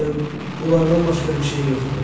Bunlardan başqa bir şey yoxdur?